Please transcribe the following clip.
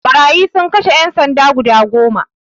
Ɓarayi sun kashe ƴan sanda guda goma